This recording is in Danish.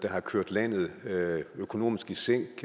har kørt landet økonomisk i sænk